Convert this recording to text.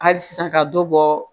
Hali sisan ka dɔ bɔ